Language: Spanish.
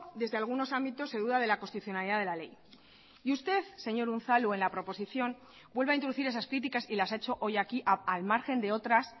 desde algunos ámbitos se duda de la constitucionalidad de la ley y usted señor unzalu en la proposición vuelve a introducir esas críticas y las ha hecho hoy aquí al margen de otras